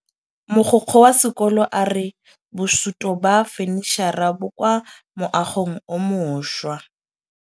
Mogokgo wa sekolo a re bosutô ba fanitšhara bo kwa moagong o mošwa.